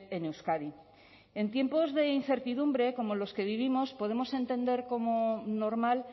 en euskadi en tiempos de incertidumbre como los que vivimos podemos entender como normal